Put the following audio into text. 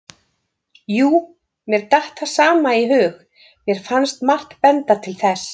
Jú, mér datt það sama í hug, mér fannst margt benda til þess.